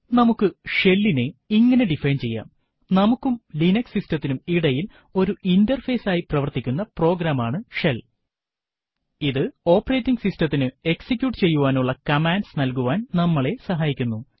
നമുക്ക് ഷെൽ ഇനെ ഇങ്ങനെ ഡിഫൈൻ ചെയ്യാം നമുക്കും ലിനക്സ് system ത്തിനും ഇടയിൽ ഒരു ഇന്റർഫേസ് ആയി പ്രവർത്തിക്കുന്ന പ്രോഗ്രാം ആണ് ഷെൽ ഇത് ഓപ്പറേറ്റിംഗ് സിസ്ടതിനു എക്സിക്യൂട്ട് ചെയ്യുവാനുള്ള കമാൻഡ്സ് നൽകുവാൻ നമ്മളെ സഹായിക്കുന്നു